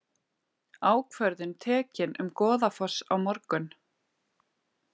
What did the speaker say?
Ákvörðun tekin um Goðafoss á morgun